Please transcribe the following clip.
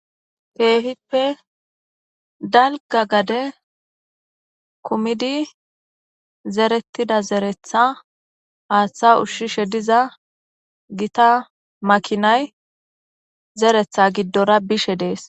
teehippe dalga gade kumidi zerettida zeretha aaththa ushshishe diza gita makinay zeretha giddora bishe dees